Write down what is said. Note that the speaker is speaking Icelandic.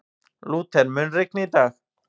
Lúther, mun rigna í dag?